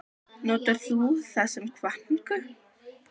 Notar þú það sem hvatningu?